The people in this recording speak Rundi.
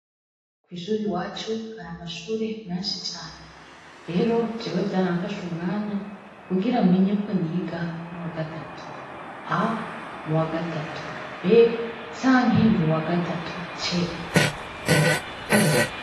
Kwishure iwacu hari amashure menshi cane rero jewe vyaramfashe umwanya kugira menye ko niga mumwaka ya gatatu A mu wagatatu B canke mu wagatatu C